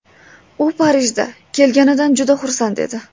U Parijda kelganidan juda xursand edi.